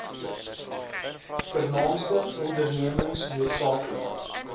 vernaamste ondernemings nl